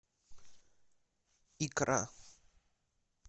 икра